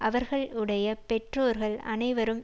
அவர்களுடைய பெற்றோர்கள் அனைவரும்